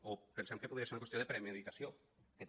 o pensem que podria ser ho una qüestió de premeditació que també